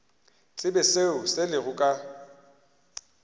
tsebe seo se lego ka